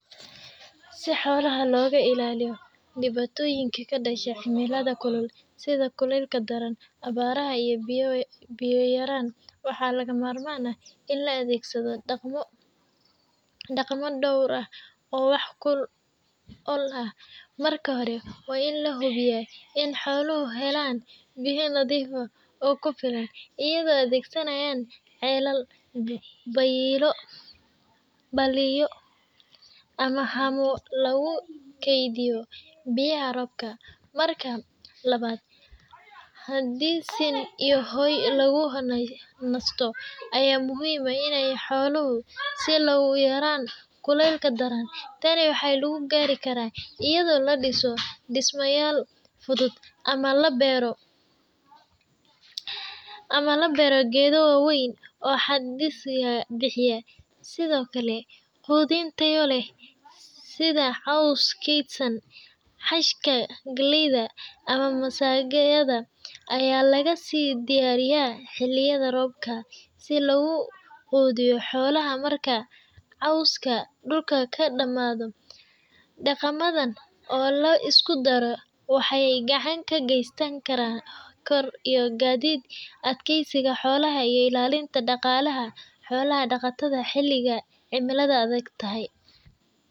Si xolaha loga ilaliyo diwatoyinka kadasha cimilaada sitha kulka daran ugu yaran waxaa laga mamarman ah in la adhegsaado daqmo door ah oo marka hore waa in la hubiya in xolaha ee helen biyo nadhif ah oo kufilan iyada oo adhesanayan xelado baliyo ama lagu kedhiyo biyaha robka, tani waxaa lagu gari kara iyada oo la diso, hajka galeyda aya laga si diyariya si loga qudhiyo xolaha xiliga cimilaada kulul.